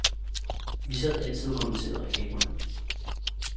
Vi sad altid og kommenterede reklamerne.